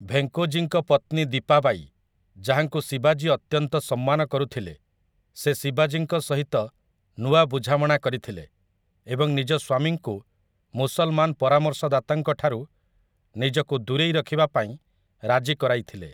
ଭେଙ୍କୋଜୀଙ୍କ ପତ୍ନୀ ଦୀପା ବାଈ, ଯାହାଙ୍କୁ ଶିବାଜୀ ଅତ୍ୟନ୍ତ ସମ୍ମାନ କରୁଥିଲେ, ସେ ଶିବାଜୀଙ୍କ ସହିତ ନୂଆ ବୁଝାମଣା କରିଥିଲେ ଏବଂ ନିଜ ସ୍ୱାମୀଙ୍କୁ ମୁସଲମାନ ପରାମର୍ଶଦାତାଙ୍କଠାରୁ ନିଜକୁ ଦୂରେଇ ରଖିବା ପାଇଁ ରାଜି କରାଇଥିଲେ ।